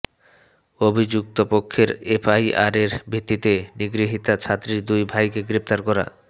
অভিযুক্তপক্ষের এফআইআরের ভিত্তিতে নিগৃহীতা ছাত্রীর দুই ভাইকে গ্রেফতার করা